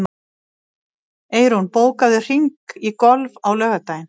Eyrún, bókaðu hring í golf á laugardaginn.